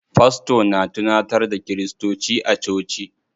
Fasto na tunantar da kiristoci a coci.